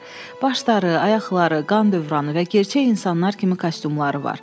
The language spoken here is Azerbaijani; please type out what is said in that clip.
Başları, ayaqları, qan dövranı və gerçək insanlar kimi kostyumları var.